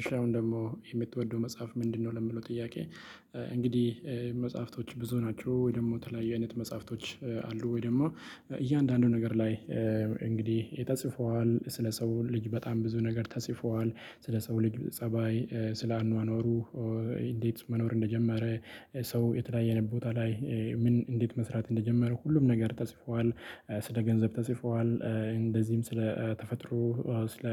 እሺ አሁን ደግሞ የምትወደው መጽሐፍ ምንድነው? ለሚለው ጥያቄ እንግዲህ መጽሐፍቶች ብዙ ናቸው፤ ወይ ደግሞ ተለያዩ አይነት መጽሐፍቶች አሉ፤ ወይ ደግሞ እያንዳንዱ ነገር ላይ እንግዲህ ተጽፏል። ስለ ሰው ልጅ በጣም ብዙ ነገር ተጽፏል። ስለ ሰው ልጅ ፀባይ ስለ አኗኗሩ እንዴት መኖር እንደጀመረ፤ ሰው የተለያየ ቦታ ላይ ምን እንዴት መስራት እንደጀመረ ሁሉም ነገር ተጽፏል። ስለ ገንዘብ ተጽፏል እንደዚህም ስለ ተፈጥሮ ስለ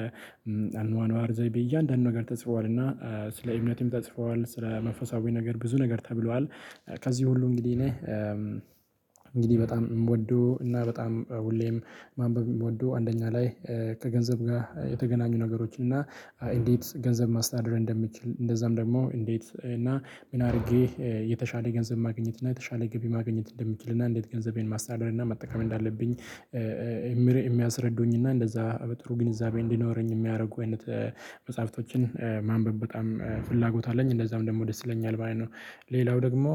አኗኗር ዘይቤ እያንዳንዱ ነገር ተጽፏል። እና ስለ እምነትም ተጽፏል፤ ስለ መንፈሳዊ ነገር ብዙ ነገር ተብሏል። ከዚህ ሁሉ እንግዲህ እኔ እንግዲህ በጣም የምወደው እና በጣም ሁሌም ማንበብ የምወደው አንደኛ ላይ ከገንዘብ ጋር የተገናኙ ነገሮችን እና እንዴት ገንዘብ ማስተዳደር እንደምችል፤ እንደዛም ደግሞ እንዴት እና ምን አድርጌ የተሻለ ገንዘብ ማግኘት እና የተሻለ ገቢ ማግኘት እንደምችል፤ እና እንዴት ገንዘቤን ማስተዳደር እና መጠቀም እንዳለብኝ እምሬ የሚያስረዱኝና እንደዛ በጥሩ ግንዛቤ እንዲኖረኝ የሚያደርጉ አይነት መጽሐፍቶችን ማንበብ በጣም ፍላጎት አለኝ። እንደዛም ደግሞ ደስ ይለኛል ማለት ነው። ሌላው ደግሞ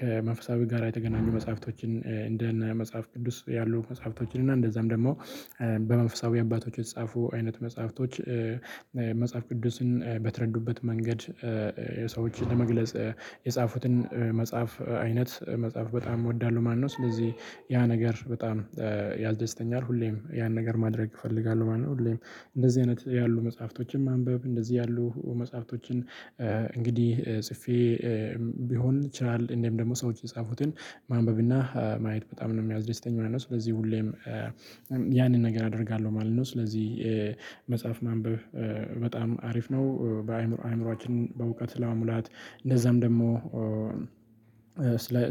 ከመንፈሳዊ ጋራ የተገናኙ መጽሐፍቶችን እንደነ መጽሐፍ ቅዱስ ያሉ መጽሐፍቶችን እና እንደዛም ደግሞ በመንፈሳዊ አባቶች የተጻፉ አይነት መጽሐፍቶች መጽሐፍ ቅዱስን በተረዱበት መንገድ ሰዎችን ለመግለጽ የጻፉትን መጽሐፍ አይነት መጽሐፍ በጣም እወዳለሁ ማለት ነው። ስለዚህ ያ ነገር በጣም ያስደስተኛል። ሁሌም ያን ነገር ማድረግ እፈልጋለሁ ማለት ነው። ሁሌም እንደዚህ አይነት ያሉ መጽሐፍቶችን ማንበብ እንደዚህ ያሉ መጽሐፍቶችን እንግዲህ ጽፌ ቢሆን ይችላል እንደውም ደግሞ ሰዎች የጻፉትን ማንበብ እና ማየት በጣም ነው የሚያስደስተኝ ማለት ነው። ስለዚህ ሁሌም ያንን ነገር አደርጋለሁ ማለት ነው። ስለዚህ መጽሐፍ ማንበብ በጣም አሪፍ ነው። በአእምሮ አእምሯችንን በእውቀት ለመሙላት እንደዛም ደግሞ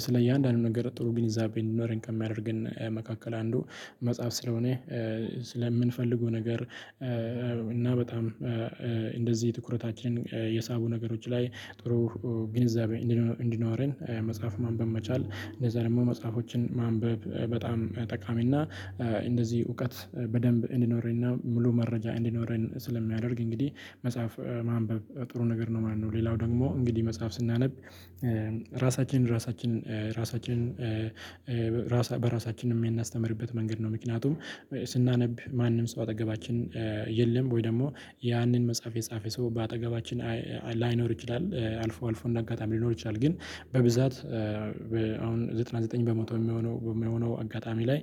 ስለ እያንዳንዱ ነገር ጥሩ ግንዛቤ እእንዲኖረን ከሚያደርገን መካከል አንዱ መጽሐፍ ስለሆነ፤ ስለምንፈልገው ነገር እና በጣም እንደዚህ ትኩረታችንን የሳቡ ነገሮች ላይ ጥሩ ግንዛቤ እንዲኖረን መጽሐፍ ማንበብ መቻል፤ እንደዛ ደግሞ መጽሐፎችን ማንበብ በጣም ጠቃሚ እና እንደዚህ እውቀት በደንብ እንዲኖረንና ሙሉ መረጃ እንዲኖረን ስለሚያደርግ እንግዲህ መጽሐፍ ማንበብ ጥሩ ነገር ነው ማለት ነው። ሌላው ደግሞ እንግዲህ መጽሐፍ ስናነብ ራሳችን ራሳችን ራሳችንን ራሳ በራሳችንም የምናስተምርበት መንገድ ነው። ምክንያቱም ስናነብ ማንም ሰው አጠገባችን የለም፤ ወይ ደግሞ ያንን መጽሐፍ የጻፈ ሰው በአጠገባችን ላይኖር ይችላል። አልፎ አልፎ እንደ አጋጣሚ ሊኖር ይችላል ግን በብዛት አሁን ዘጠና ዘጠኝ በመቶ የሚሆነው በሚሆነው አጋጣሚ ላይ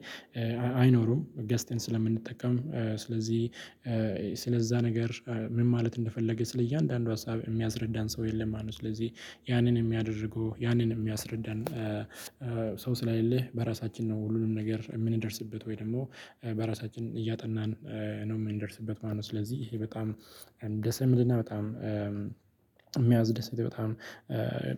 አይኖሩም። ገዝተን ስለምንጠቀም ስለዚህ ስለዛ ነገር ምን ማለት እንደፈለገ ስለእያንዳንዱ ሀሳብ የሚያስረዳን ሰው የለም ማለት ነው። ስለዚህ ያንን የሚያደርጉ ያንን የሚያስረዳን ሰው ስለሌለ በራሳችን ነው ሁሉንም ነገር የምንደርስበት ወይ ደግሞ በራሳችን እያጠናን ነው የምንደርስበት ማለት ነው። ስለዚህ ይሄ በጣም ደስ የሚልና በጣም የሚያስደስት በጣም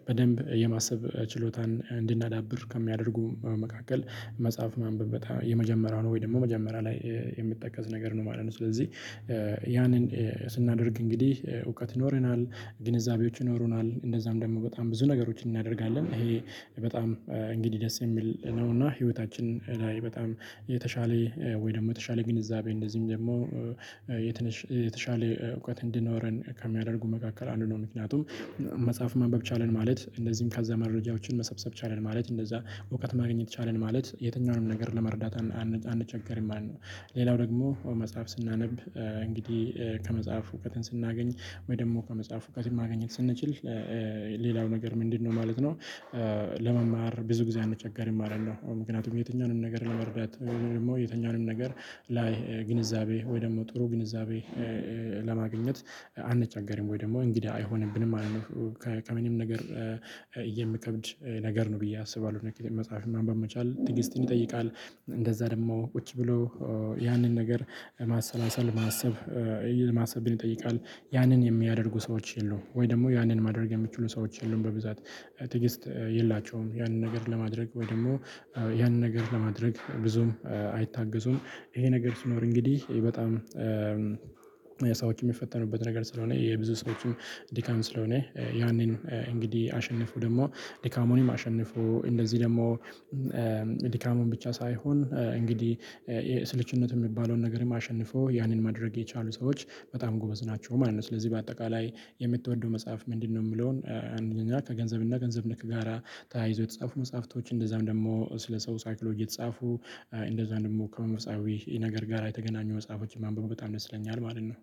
በደንብ የማሰብ ችሎታን እንድናዳብር ከሚያደርጉ መካከል መጽሐፍ ማንበብ በጣም የመጀመሪያው ነው ወይ ደግሞ መጀመሪያ ላይ የሚጠቀስ ነገር ነው ማለት ነው። ስለዚህ ያንን ስናደርግ እንግዲህ እውቀት ይኖረናል፤ ግንዛቤዎች ይኖሩናል፤ እንደዛም ደግሞ በጣም ብዙ ነገሮችን እናደርጋለን። ይሄ በጣም እንግዲህ ደስ የሚል ነው እና ህይወታችን ላይ በጣም የተሻለ ወይ ደግሞ የተሻለ ግንዛቤ እንደዚህም ደግሞ የተሻለ እውቀት እንዲኖረን ከሚያደርጉ መካከል አንዱ ነው። ምክንያቱም መጽሐፍ ማንበብ ቻልን ማለት፤ እንደዚሁም ከዛ መረጃዎችን መሰብሰብ ቻልን ማለት፤ እንደዛ እውቀት ማግኘት ቻልን ማለት፤ የትኛውንም ነገር ለመረዳት አንቸገርም ማለት ነው። ሌላው ደግሞ መጽሐፍ ስናነብ እንግዲህ ከመጽሐፍ እውቀትን ስናገኝ ወይ ደግሞ ከመጽሐፍ እውቀትን ማግኘት ስንችል ሌላው ነገር ምንድነው ማለት ነው ለመማር ብዙ ጊዜ አንቸገርም ማለት ነው። ምክንያቱም የትኛውንም ነገር ለመረዳት ደግሞ የትኛውንም ነገር ላይ ግንዛቤ ወይ ደግሞ ጥሩ ግንዛቤ ለማግኘት አንቸገርም ወይ ደግሞ እንግዳ አይሆንብንም ማለት ነው። ከምንም ነገር የሚከብድ ነገር ነው ብዬ አስባለሁ። መጽሐፍን ማንበብ መቻል ትዕግስትን ይጠይቃል። እንደዛ ደግሞ ቁጭ ብሎ ያንን ነገር ማሰላሰል ማሰብ ማሰብን ይጠይቃል። ያንን የሚያደርጉ ሰዎች የሉም ወይ ደግሞ ያንን ማድረግ የሚችሉ ሰዎች የሉም በብዛት። ትዕግስት የላቸውም ያንን ነገር ለማድረግ ወይ ደግሞ ያንን ነገር ለማድረግ ብዙም አይታገሱም። ይሄንን ነገር ሲኖር እንግዲህ በጣም የሰዎች የሚፈተኑበት ነገር ስለሆነ፤ የብዙ ሰዎችም ድካም ስለሆነ፤ ያንንም እንግዲህ አሸንፎ ደግሞ ድካሙንም አሸንፎ እንደዚህ ደግሞ ድካሙን ብቻ ሳይሆን እንግዲህ ስልቹነት የሚባለውን ነገርም አሸንፈው ያንን ማድረግ የቻሉ ሰዎች በጣም ጎበዝ ናቸው ማለት ነው። ስለዚህ በአጠቃላይ የምትወደው መጽሐፍ ምንድነው? የሚለውን አንደኛ ከገንዘብ እና ከገንዘብ ነክ ጋራ ታያይዘው የተጻፉ መጽሐፍቶች፤ እንደዛም ደግሞ ስለ ሰው ሳይኮሎጂ የተጻፉ እንደዛም ደግሞ ከመንፈሳዊ ነገር ጋር የተገናኙ መጽሐፎችን ማንበብ በጣም ደስ ይለኛል ማለት ነው።